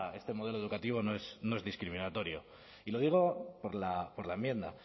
este modelo educativo no es discriminatorio y lo digo por la enmienda